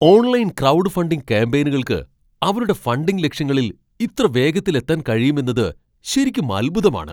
Online crowd funding കാമ്പെയ്നുകൾക്ക് അവരുടെ funding ലക്ഷ്യങ്ങളിൽ ഇത്ര വേഗത്തിൽ എത്താൻ കഴിയുമെന്നത് ശരിക്കും അൽഭുതമാണ്.